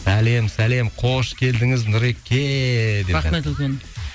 сәлем сәлем қош келдіңіз нұреке рахмет үлкен